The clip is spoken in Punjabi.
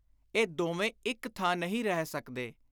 ਇਹ ਦੋਵੇਂ ਇਕ ਥਾਂ ਨਹੀਂ ਰਹਿ ਸਕਦੇ।